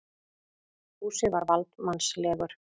Fúsi var valdsmannslegur.